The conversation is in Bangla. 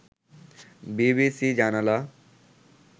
বিবিসি জানালা